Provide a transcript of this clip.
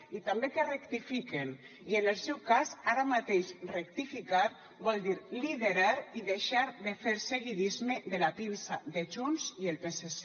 i també que rectifiquen i en el seu cas ara mateix rectificar vol dir liderar i deixar de fer seguidisme de la pinça de junts i el psc